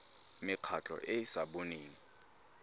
mekgatlho e e sa boneng